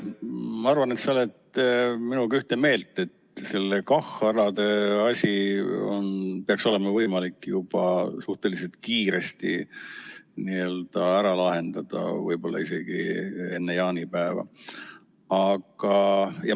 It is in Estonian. Ma arvan, et sa oled minuga ühte meelt, et seda KAH‑alade asja peaks olema võimalik juba suhteliselt kiiresti ära lahendada, võib-olla isegi enne jaanipäeva.